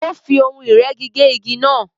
Ó fí ohun ìrẹ́gi gé igi náà